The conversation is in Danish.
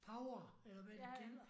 Power! Eller hvad de kalder